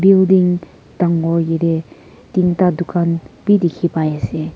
building dagur kide tinta dukan bhi dekhi pai ase.